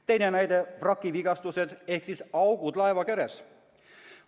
Teine näide: vraki vigastused ehk augud laeva keres.